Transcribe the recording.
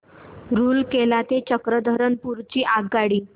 रूरकेला ते चक्रधरपुर ची आगगाडी